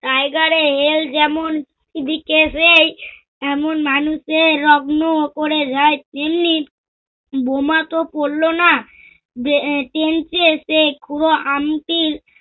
tiger hill যেমন করে যায় তেমনি বোমা তো পড়ল না। যে এ drain টিয়ে সে পুরো আমটি